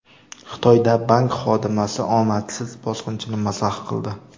Xitoyda bank xodimasi omadsiz bosqinchini mazax qildi.